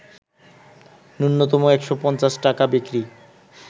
ন্যূনতম ১৫০ টাকা বিক্রি